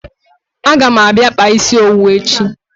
A ga m abia kpaa isi owu echi